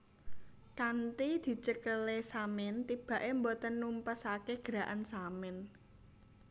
Kanthi dicekelé Samin tibaké boten numpesake Gerakan Samin